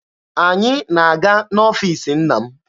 Anyị na-aga n'ọfiisi nna m.